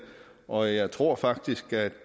og jeg tror faktisk at